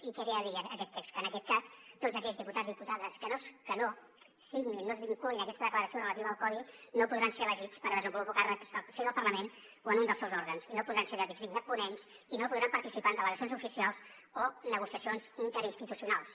i què ve a dir aquest text que en aquest cas tots aquells diputats diputades que no signin no es vinculin a aquesta declaració relativa al codi no podran ser elegits per desenvolupar càrrecs al si del parlament o en un dels seus òrgans i no podran ser designats ponents i no podran participar en delegacions oficials o negociacions interinstitucionals